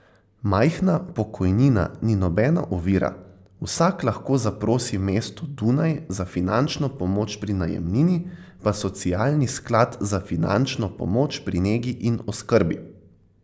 Majhna pokojnina ni nobena ovira, vsak lahko zaprosi mesto Dunaj za finančno pomoč pri najemnini, pa Socialni sklad za finančno pomoč pri negi in oskrbi.